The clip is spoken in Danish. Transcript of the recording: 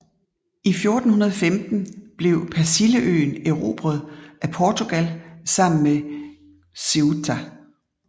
I 1415 blev Persilleøen erobret af Portugal sammen med Ceuta